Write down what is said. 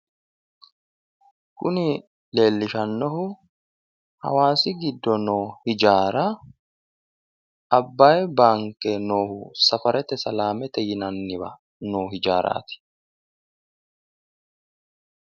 Kuni leelishanohu hawaasi giddo noo Hijaara Abbayi baanke no safarete salamete yinanniwa noo hijaarati.